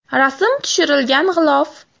Rasm tushirilgan g‘ilof.